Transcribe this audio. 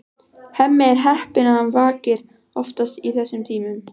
Hemmi er heppinn að hann vakir oftast í þessum tímum.